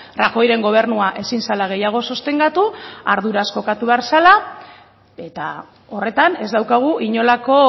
rajoyren gobernua ezin zela gehiago sostengatu arduraz jokatu behar zela eta horretan ez daukagu inolako